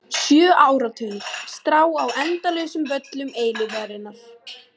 Sjö áratugir: strá á endalausum völlum eilífðarinnar.